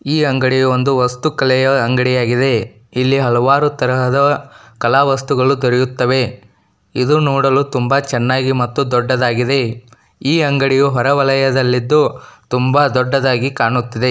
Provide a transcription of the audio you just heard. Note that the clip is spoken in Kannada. ಈ ಅಂಗಡಿ ಒಂದು ವಸ್ತು ಕಲಿಯ ಅಂಗಡಿ ಆಗಿದೆ ಹಲವಾರು ತರದ ಕಾಲ ವಸ್ತುಗಳು ಸಿಗುತ್ತವೆ ಇದು ನೋಡಲು ತುಂಬಾ ಚೆನ್ನಾಗಿದೆ ದೊಡ್ಡದಾಗಿದೆ ಈ ಅಂಗಡಿಯು ಹೊರ ವಾಲಿಯಲ್ಲಿದ್ದು ತುಂಬಾ ದೊಡ್ಡದಾಗಿ ಕಾಣುತ್ತಿದೆ.